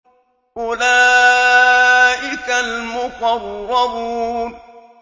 أُولَٰئِكَ الْمُقَرَّبُونَ